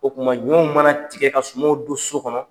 O tuma ɲɔw mana tigɛ ka sumaw don so kɔnɔ.